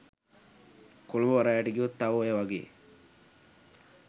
කොළඹ වරායට ගියොත් තව ඔය වගේ